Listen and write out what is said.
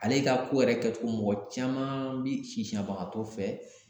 Ale ka ko yɛrɛ kɛtogo mɔgɔ caman bi sisanbagatɔ fɛ